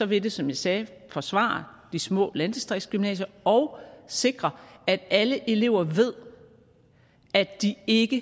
vil det som jeg sagde forsvare de små landdistriktsgymnasier og sikre at alle elever ved at de ikke